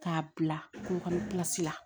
K'a bila ko la